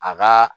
A ka